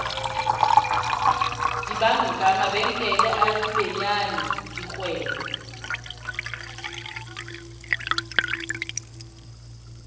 dibanka mabenkele a mabenyane dikgwebo